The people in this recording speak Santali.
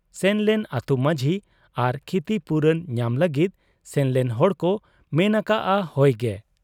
ᱥᱮᱱᱞᱮᱱ ᱟᱹᱛᱩ ᱢᱟᱹᱡᱷᱤ ᱟᱨ ᱠᱷᱤᱛᱤᱯᱩᱨᱚᱱ ᱧᱟᱢ ᱞᱟᱹᱜᱤᱫ ᱥᱮᱱᱞᱮᱱ ᱦᱚᱲᱠᱚ ᱢᱮᱱ ᱟᱠᱟᱜ ᱟ ᱦᱚᱭ ᱜᱮ ᱾